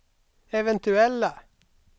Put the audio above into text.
eventuella